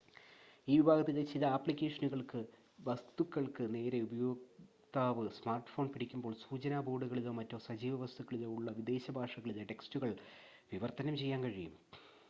ഈ വിഭാഗത്തിലെ ചില ആപ്ലിക്കേഷനുകൾക്ക് വസ്‌തുക്കൾക്ക് നേരെ ഉപയോക്താവ് സ്മാർട്ട്‌ഫോൺ പിടിക്കുമ്പോൾ സൂചനാ ബോർഡുകളിലോ മറ്റ് സജീവ വസ്തുക്കളിലോ ഉള്ള വിദേശ ഭാഷകളിലെ ടെക്സ്റ്റുകൾ വിവർത്തനം ചെയ്യാൻ കഴിയും